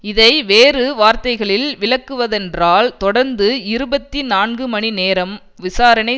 இதை வேறு வார்த்தைகளில் விளக்குவதென்றால் தொடர்ந்து இருபத்தி நான்குமணிநேரம் விசாரணை